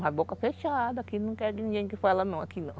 A boca fechada, aqui não quer ninguém que fala não, aqui não.